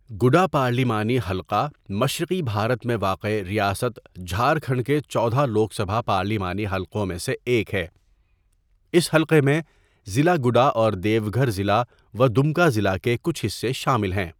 گڈا پارلیمانی حلقہ مشرقی بھارت میں واقع ریاست جھارکھنڈ کے چودہ لوک سبھا پارلیمانی حلقوں میں سے ایک ہے، اس حلقہ میں ضلع گڈا اور دیو گھر ضلع و دمکا ضلع کے کچھ حصے شامل ہے.